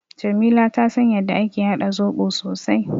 Jamila ta san yadda ake haɗa zoɓo sosai.